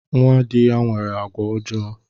Nnwa dị ya nwere àgwà ọjọọ